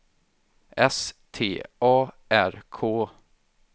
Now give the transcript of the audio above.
S T A R K